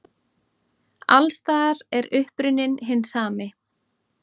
Alls staðar er uppruninn hinn sami.